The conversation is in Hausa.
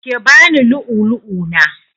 Ki bani lu'ulu'u na!